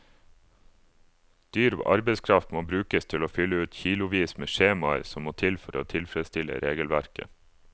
Dyr arbeidskraft må brukes til å fylle ut kilovis med skjemaer som må til for å tilfredsstille regelverket.